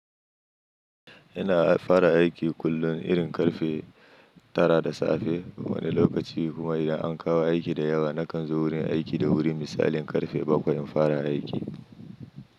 Ina fara aiki kullum irin ƙarfe tara da safe. Wani lokaci kuma idan an kawo aiki da yawa, na kan zo wurin aiki da wuri misali ƙarfe bakwai in fara aiki.